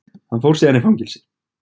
Hann fór síðan í fangelsi.